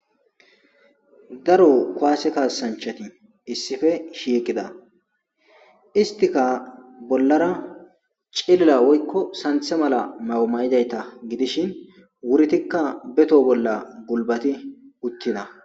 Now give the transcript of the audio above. daro kuwaase kaasanchati issife shiiqida istika bollara celila woykko santhe mala mawumayidayta gidishin wuritikka beto bolla gulbati uttida